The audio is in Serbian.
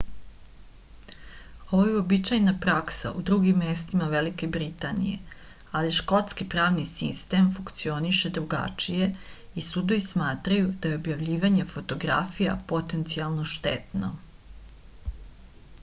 ovo je uobičajena praksa u drugim mestima velike britanije ali škotski pravni sistem funkcioniše drugačije i sudovi smatraju da je objavljivanje fotografija potencijalno štetno